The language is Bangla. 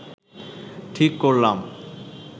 ঠিক করলাম